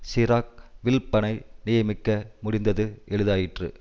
சிராக் வில்ப்பனை நியமிக்க முடிந்தது எளிதாயிற்று